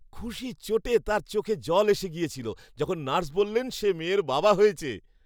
খুশির চোটে তার চোখে জল এসে গিয়েছিলো যখন নার্স বললেন সে মেয়ের বাবা হয়েছে।